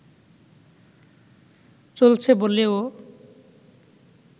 চলছে বলেও